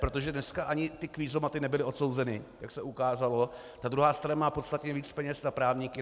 Protože dnes ani ty kvízomaty nebyly odsouzeny, jak se ukázalo, ta druhá strana má podstatně víc peněz na právníky.